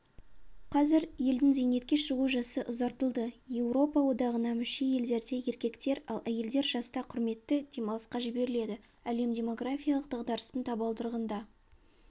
қазір елдің зейнетке шығу жасы ұзартылды еуропа одағына мүше елдерде еркектер ал әйелдер жаста құрметті демалысқа жіберіледі әлем демографиялық дағдарыстың табалдырығында